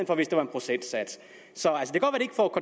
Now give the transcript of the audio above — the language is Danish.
hvor det var en procentsats så